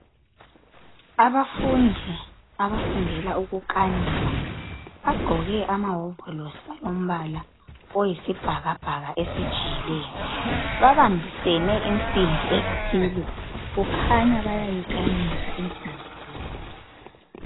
Abafundi abafundela ukukanika bagqoke ama wovolosi ombala oyisibhakabhaka esijiyileyo. Babambisene insimbi ethile kukhanya bayayikhanika insimbi le.